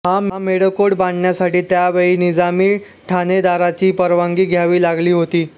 हा मेढेकोट बांधण्यासाठी त्यावेळी निजामी ठाणेदाराची परवानगी घ्यावी लागली होती